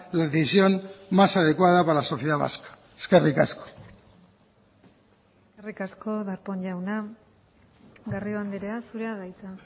la decisión más adecuada para la sociedad vasca eskerrik asko eskerrik asko darpón jauna garrido andrea zurea da hitza